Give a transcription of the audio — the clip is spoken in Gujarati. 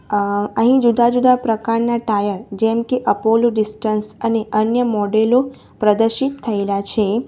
અહ અહીં જુદા જુદા પ્રકારના ટાયર જેમકે અપોલો ડિસ્ટન્સ અને અન્ય મોડેલો પ્રદર્શિત થયેલા છે.